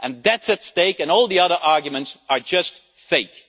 And that is at stake and all the other arguments are just fake.